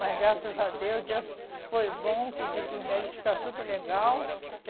Mas, graças a Deus, Deus foi bom que o médico disse que está tudo legal.